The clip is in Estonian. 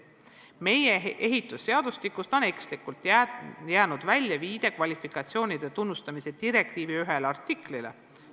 Meie ehitusseadustikust on ekslikult jäänud välja viide kvalifikatsioonide tunnustamise direktiivi ühele artiklile.